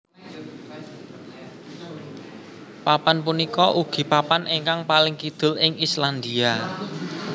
Papan punika ugi papan ingkang paling kidul ing Islandia